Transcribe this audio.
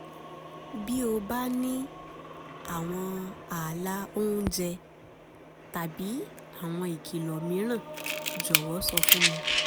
bí o bá ní àwọn ààlà oúnjẹ tàbí àwọn ìkìlọ̀ mìíràn jọ̀wọ́ sọ fún mi